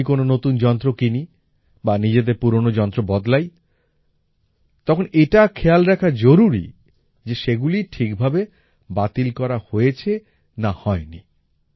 যখনই কোনো নতুন যন্ত্র কিনি বা নিজেদের পুরোনো যন্ত্র বদলাই তখন এটা খেয়াল রাখা জরুরি যে সেগুলি ঠিক ভাবে বাতিল করা হয়েছে না হয়নি